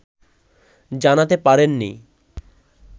জানাতে পারেননি